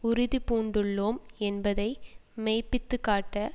உறுதி பூண்டுள்ளோம் என்பதை மெய்ப்பித்துக்காட்ட